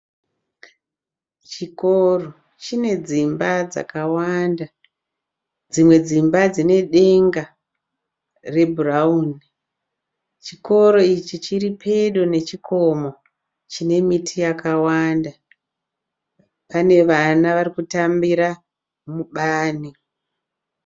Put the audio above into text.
Chikoro chine dzimba dzakawanda. Dzimwe dzima dzine denga rebhurauni. Chikoro ichi chiri pedo nechikomo chine miti yakawanda. Pane vana vari kutambira mubani.